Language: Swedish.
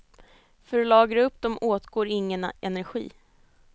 För att lagra upp dem åtgår ingen energi.